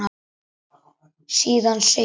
Síðan segir